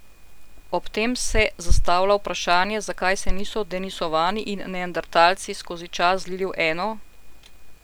Ob tem se je zastavlja vprašanje, zakaj se niso denisovani in neandertalci skozi čas zlili v eno?